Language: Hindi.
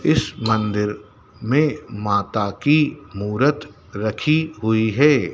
इस मंदिर में माता की मूर्त रखी हुई है।